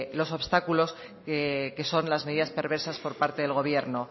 los obstáculos que son las medidas perversas por parte del gobierno